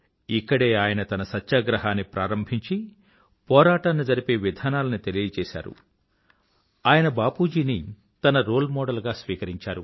ఇక్కడే ఆయన తన సత్యాగ్రహాన్ని ప్రారంభించి పోరాటాన్ని జరిపే విధానాలని తెలియజేసారు ఆయన బాపూజీని తన రోల్ మోడల్ గా స్వీకరించారు